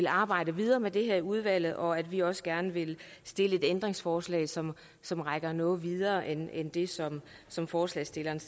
arbejde videre med det her i udvalget og at vi også gerne vil stille et ændringsforslag som som rækker noget videre end det som som forslagsstillerne